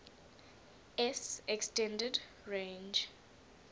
s extended range